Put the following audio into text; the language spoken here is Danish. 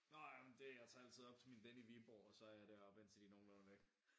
Nåh ja men det jeg tager altid op til min ven i Viborg og så jeg deroppe indtil de nogenlunde er væk